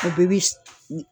A bɛɛ bi